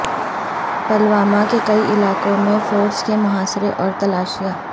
پلوامہ کے کئی علاقوں میں فورسز کے محاصرے اور تلاشیاں